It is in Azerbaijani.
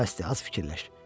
Qoca bəsdir az fikirləş.